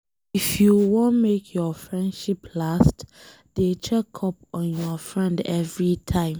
If you wan make your friendship last, dey check up on your friend everytime.